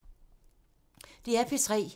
DR P3